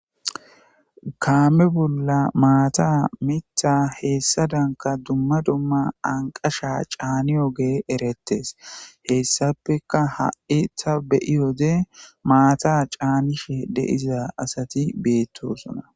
Kaame bolla maata mitha heessa danka dumma dumma anqasha caani oge erettes heessapeka ha'i ta beyiyode maata caanishe deiza asati beettosona.